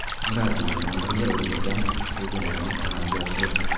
Murabbiy bilan birga o‘ylagan rejalarimiz amalga oshdi.